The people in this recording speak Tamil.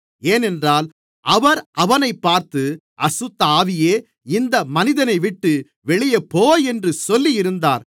ஏனென்றால் அவர் அவனைப் பார்த்து அசுத்தஆவியே இந்த மனிதனைவிட்டு வெளியே போ என்று சொல்லியிருந்தார்